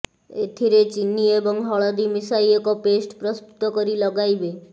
ଏଥିରେ ଚିନି ଏବଂ ହଳଦୀ ମିଶାଇ ଏକ ପେଷ୍ଟ ପ୍ରସ୍ତୁତ କରି ଲଗାଇବେ